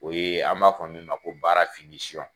O ye an b'a fɔ min ma ko baara